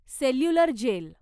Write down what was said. cellular gel